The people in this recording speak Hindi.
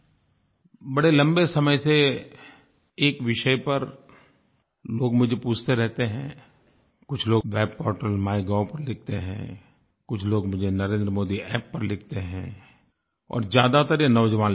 बड़े लम्बे समय से एक विषय पर लोग मुझे पूछते रहते हैं कुछ लोग वेब पोर्टल माइगोव पर लिखते हैं कुछ लोग मुझे NarendraModiApp पर लिखते हैं और ज़्यादातर ये नौजवान लिखते हैं